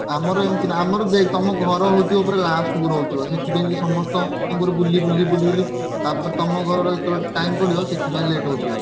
ଆମର ଏମିତି ନୁହଁ ଆମର ଦେଖ ତମ ଘର ହଉଥିବ ପୁର last କୁ ରହୁଥିବ ସେଥିପାଇଁ ସମସ୍ତଙ୍କ ଘରକୁ ବୁଲିକି ବୁଲି ବୁଲି ତାପରେ ତମ ଘରର ଯେତବେଳେ time ପଡ଼ୁଥିବ ସେଥିପାଇଁ late ହଉଥିବ।